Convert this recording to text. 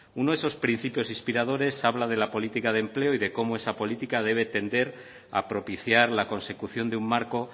uno de esos principios inspiradores habla de la política de empleo y de cómo esa política debe tender a propiciar la consecución de un marco